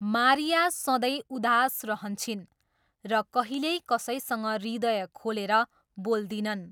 Maria सधैँ उदास रहन्छिन् र कहिल्यै कसैसँग हृदय खोलेर बोल्दिनन्।